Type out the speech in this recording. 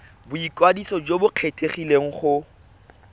boikwadiso jo bo kgethegileng go